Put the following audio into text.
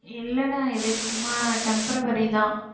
இல்லடா இது சும்மா temporary தான்